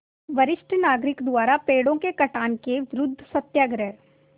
वरिष्ठ नागरिक द्वारा पेड़ों के कटान के विरूद्ध सत्याग्रह